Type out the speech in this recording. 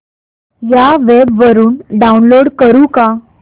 या वेब वरुन डाऊनलोड करू का